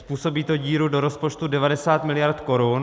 Způsobí to díru do rozpočtu 90 mld. korun.